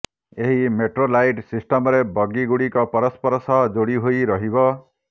ଏହି ମେଟ୍ରୋଲାଇଟ୍ ସିଷ୍ଟମରେ ବଗିଗୁଡିକ ପରସ୍ପର ସହ ଯୋଡି ହୋଇ ରହିବ